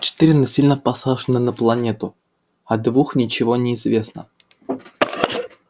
четыре насильно посажены на планету о двух ничего не известно